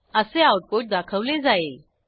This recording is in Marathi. असे आऊटपुट दाखवले जाईल